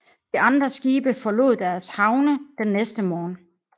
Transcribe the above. De andre skibe forlod deres havne den næste morgen